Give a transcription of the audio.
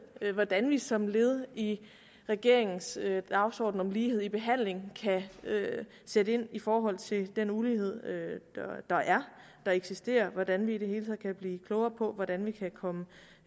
hvordan vi som led i regeringens dagsorden om lighed i behandlingen kan sætte ind i forhold til den ulighed der eksisterer og hvordan vi i det hele taget kan blive klogere på hvordan vi kan komme